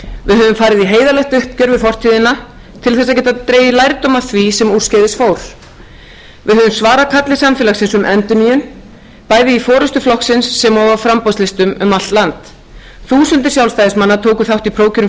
við höfum farið í heiðarlegt uppgjör við fortíðina til að geta dregið lærdóm af því sem úrskeiðis fór við höfum svarað kalli samfélagsins um endurnýjun bæði í forustu flokksins sem og á framboðslistum um allt land þúsundir sjálfstæðismanna tóku þátt í prófkjörum